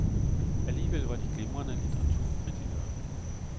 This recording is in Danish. Alligevel var de glimrende litteraturkritikere.